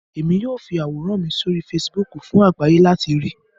Emi yoo fi aworan mi sori Fèsìbúukù fun agbaye lati rii